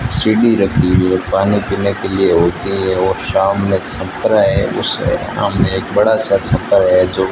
रखी हुई है पानी पीने के लिए होती है और सामने एक छपरा है उसके सामने एक बड़ा सा छप्पर है जो --